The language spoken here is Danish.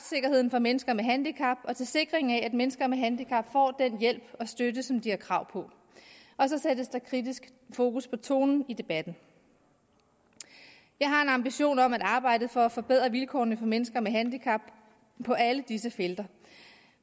for mennesker med handicap og til sikring af at mennesker med handicap får den hjælp og støtte som de har krav på og så sættes der kritisk fokus på tonen i debatten jeg har en ambition om at arbejde for at forbedre vilkårene for mennesker med handicap på alle disse felter